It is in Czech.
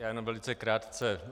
Já jenom velice krátce.